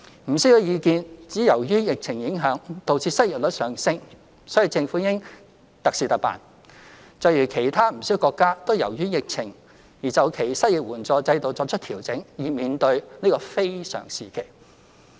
不少意見指由於疫情影響，導致失業率上升，所以政府應特事特辦，就如其他不少國家皆由於疫情而就其失業援助制度作出調整，以面對這個非常時期。